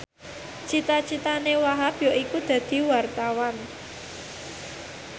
cita citane Wahhab yaiku dadi wartawan